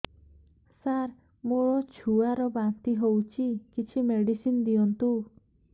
ସାର ମୋର ଛୁଆ ର ବାନ୍ତି ହଉଚି କିଛି ମେଡିସିନ ଦିଅନ୍ତୁ